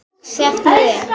Og stefndi inn